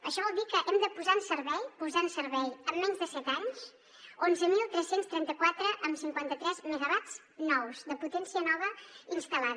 això vol dir que hem de posar en servei posar en servei en menys de set anys onze mil tres cents i trenta quatre coma cinquanta tres megawatts nous de potència nova instal·lada